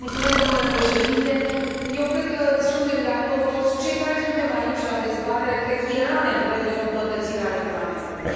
Domnule președinte, eu cred că suntem de acord, toți cei care suntem aici la dezbatere, că era nevoie de o îmbunătățire a regulamentului.